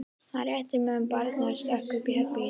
Hann rétti mömmu barnið og stökk upp í herbergið sitt.